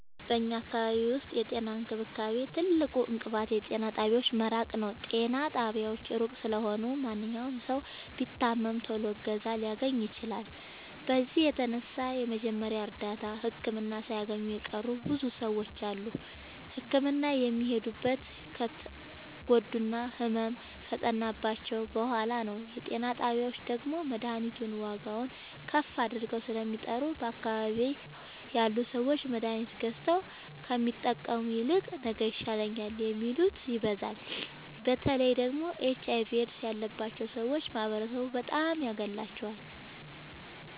በኛ አካባቢ ዉስጥ የጤና እንክብካቤ ትልቁ እንቅፋት የጤና ጣቢያዎች መራቅ ነዉ። ጤና ጣቢያዎች እሩቅ ስለሆኑ ማንኛዉም ሠዉ ቢታመም ቶሎ እገዛ ላያገኝ ይችላል። በዚህም የተነሣ የመጀመሪያ እርዳታ ህክምና ሣያገኙ የቀሩ ብዙ ሰዎች አሉ። ህክምና የሚሄዱትም ከተጎዱና ህመሙ ከፀናባቸዉ በሗላ ነዉ። የጤና ጣቢያዎች ደግሞ መድሀኒቱን ዋጋዉን ከፍ አድርገዉ ስለሚጠሩ በአካባቢዉ ያሉ ሠዎች መድሀኒት ገዝተዉ ከሚጠቀሙ ይልቅ ነገ ይሻለኛል የሚሉት ይበዛሉ። በተለይ ደግሞ ኤች አይቪ ኤድስ ያባቸዉ ሠዎች ማህበረሡ በጣም ያገላቸዋል።